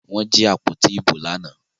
Wọ́n jí àpótí ìbò lánàá